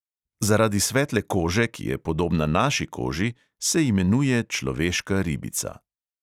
Zaradi svetle kože, ki je podobna naši koži, se imenuje človeška ribica.